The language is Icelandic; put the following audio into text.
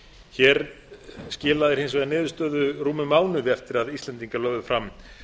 hér skilar hún hins vegar niðurstöðu rúmum mánuði eftir að íslendingar lögðu fram